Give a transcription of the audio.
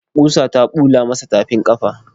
Ƙusa ta bula masa tafin ƙafa.